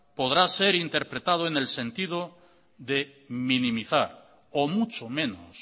podrá ser interpretado en el sentido de minimizar o mucho menos